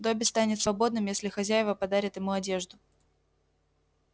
добби станет свободным если хозяева подарят ему одежду